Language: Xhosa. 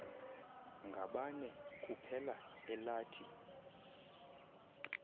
ngabane kuphela elathi